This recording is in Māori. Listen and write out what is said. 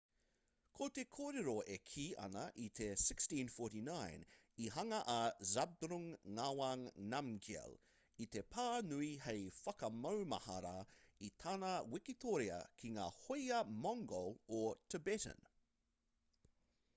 ko te kōrero e kī ana i te 1649 i hanga a zhabdrung ngawang namgyel i te pā nui hei whakamaumahara i tana wikitoria ki ngā hoiā mongol o tibetan